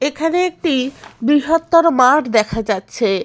এখানে একটি বৃহত্তর মাঠ দেখা যাচ্ছে।